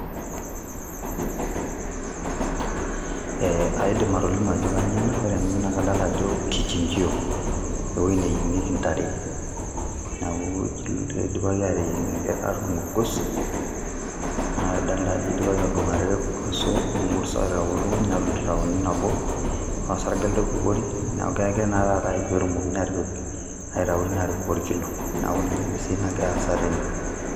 eh aidim atolimu ajo kanyio ena ore ena naa kadalta ajo kichinjio ewueji neyieng'ieki intare naku ijo ilotu idipaki ateyieng enkerr atuidung orgos adalta ajo idipaki atudung are irgoso wemurrt aitau ilukuny neton itu tauni nabo naa osarge elde oibukori neku kegirae taa taata aik petumokini atipik aitau tine atipik erkilo naku ninye naa esiai nagira aasa tene.